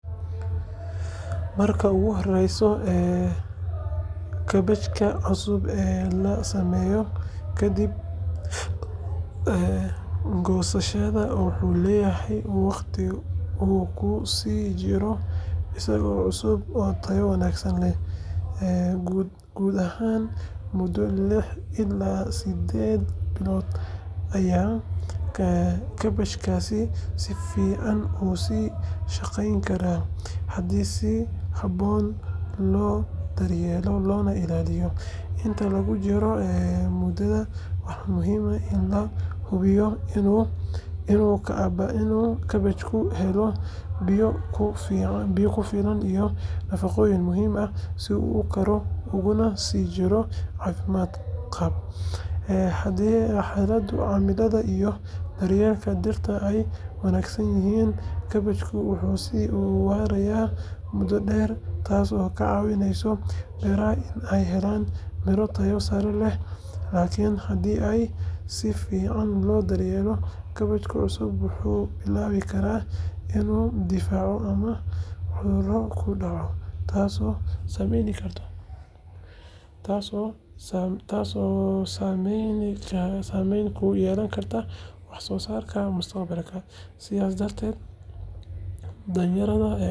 Marka ugu horreysa, kaabajka cusub ee la sameeyo kadib goosashada wuxuu leeyahay waqti uu ku sii jiro isagoo cusub oo tayo wanaagsan leh. Guud ahaan, muddo lix ilaa siddeed bilood ayaa kaabajkaasi si fiican u sii shaqeyn karaa haddii si habboon loo daryeelo loona ilaaliyo. Inta lagu jiro muddadan, waxaa muhiim ah in la hubiyo inuu kaabajku helo biyo ku filan iyo nafaqooyin muhiim ah si uu u koro uguna sii jiro caafimaad qab. Haddii xaaladaha cimilada iyo daryeelka dhirta ay wanaagsan yihiin, kaabajku wuu sii waarayaa muddo dheer, taasoo ka caawinaysa beeraha in ay helaan miro tayo sare leh. Laakiin haddii aan si fiican loo daryeelin, kaabajka cusub wuxuu bilaabi karaa inuu daciifo ama cudurro ku dhaco, taasoo saameyn ku yeelan karta wax soo saarka mustaqbalka. Sidaas darteed, daryeel joogto ah iyo kormeer ayaa lagama maarmaan u ah in kaabajka goosashada ka dib uu ahaado mid cusub oo faa’iido leh muddo dheer.